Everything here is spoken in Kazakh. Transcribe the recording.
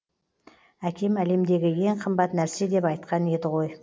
әкем әлемдегі ең қымбат нәрсе деп айтқан еді ғой